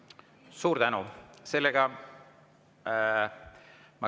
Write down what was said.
Suur tänu!